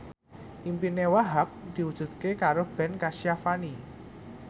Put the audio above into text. impine Wahhab diwujudke karo Ben Kasyafani